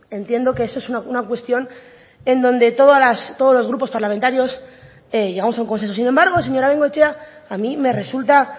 entiendo que esa es una cuestión en donde todos los grupos parlamentarios llegamos a un consenso sin embargo señora de bengoechea a mí me resulta